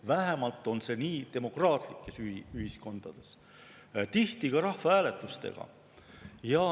Vähemalt on see nii demokraatlikes ühiskondades, tihti ka rahvahääletuste abil.